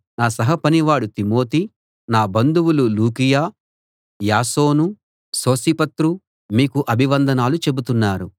నా సహ పనివాడు తిమోతి నా బంధువులు లూకియ యాసోను సోసిపత్రు మీకు అభివందనాలు చెబుతున్నారు